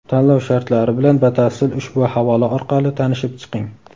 Tanlov shartlari bilan batafsil ushbu havola orqali tanishib chiqing.